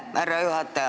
Aitäh, härra juhataja!